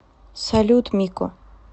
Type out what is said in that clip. салют мико